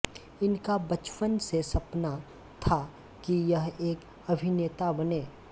इनका बचपन से सपना था कि यह एक अभिनेता बने